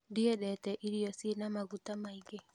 Ndiendete irio cina maguta maingĩ